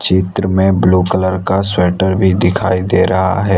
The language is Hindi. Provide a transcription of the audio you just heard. चित्र में ब्लू कलर का स्वेटर भी दिखाई दे रहा है।